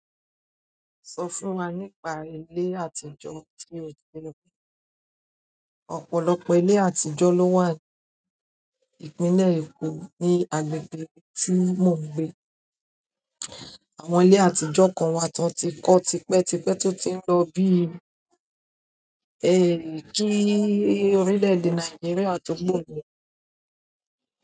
Sọ fún wa nípa ilé àtijọ́ tí o ti rí. Ọ̀pọ̀lọpọ̀ ilé àtijọ́ ló wà ní ìpínlẹ̀ Èkó, ní agbègbè tí mò ń gbé. Àwọn ilé àtijọ́ kan wà t'ọ́n ti kọ́ tipẹ́tipẹ́ tó ti ń lọ bíi, kí orílẹ̀-èdè Nàìjíríà tó gbòmìnira.